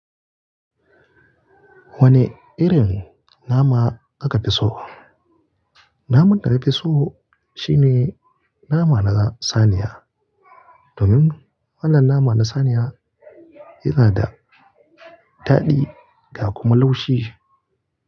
Wane irin nama kika fi so? Naman da nafi so shine nama na saniya. Domin wannan naman na saniya yana da daɗi ga kuma laushi.